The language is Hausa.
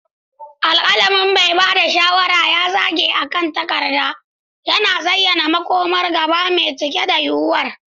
Alƙalamin mai ba da shawara ya zage akan takarda, yana zayyana makomar gaba mai cike da yuwuwar.